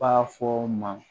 B'a fɔ o ma